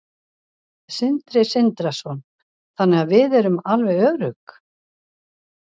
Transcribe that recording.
Sindri Sindrason: Þannig að við erum alveg örugg?